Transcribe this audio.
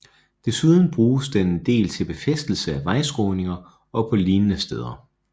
Desuden bruges den en del til befæstelse af vejskråninger og på lignende steder